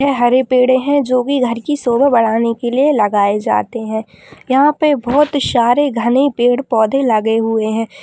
हरे पेड़ है जो भी घर की शोभा बढ़ाने के लिए लगाए जाते है यहां पे बहुत सारे घने पेड़-पौधे लगे हुए है।